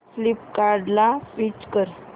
फ्लिपकार्टं ला स्विच कर